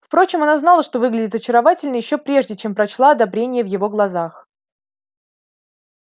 впрочем она знала что выглядит очаровательно ещё прежде чем прочла одобрение в его глазах